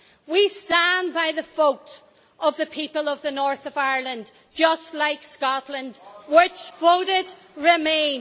We stand by the vote of the people of the north of Ireland just like Scotland, which voted remain.